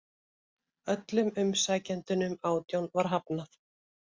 Öllum umsækjendunum átján var hafnað